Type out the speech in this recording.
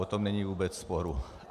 O tom není vůbec sporu.